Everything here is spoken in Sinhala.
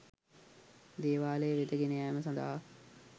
දේවාලය වෙත ගෙන යෑම සඳහා